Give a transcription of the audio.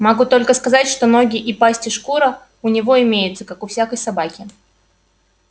могу только сказать что ноги и пасть и шкура у него имеются как у всякой собаки